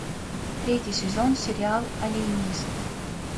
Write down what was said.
третий сезон сериал алиенист